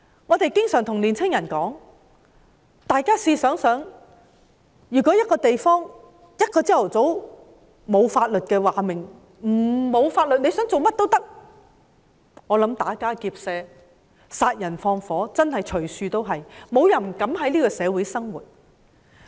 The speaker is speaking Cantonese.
我們經常對年青人說，試想想，如果一個地方在某個早上沒有了法律，大家想做甚麼也可以，我認為打家劫舍、殺人放火的事件真的會隨處都是，沒有人膽敢在這個社會生活。